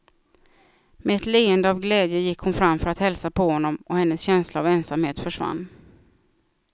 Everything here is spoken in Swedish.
Med ett leende av glädje gick hon fram för att hälsa på honom, och hennes känsla av ensamhet försvann.